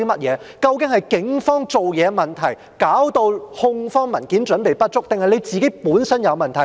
究竟是警方辦事的問題，導致控方文件準備不足，還是司長本身有問題？